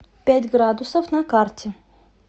пять градусов на карте